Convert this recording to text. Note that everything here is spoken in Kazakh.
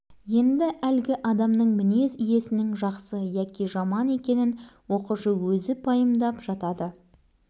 ол ресми мінездеме бермейді мінездің тікелей көрінісін яғни одан туындайтын іс-әрекетті жазады бауыржан туралы рахима апайдың